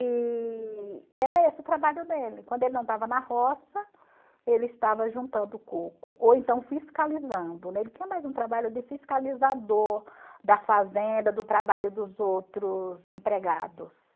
E e era esse o trabalho dele, quando ele não estava na roça, ele estava juntando o coco, ou então fiscalizando, né, ele tinha mais um trabalho de fiscalizador da fazenda, do trabalho dos outros empregados.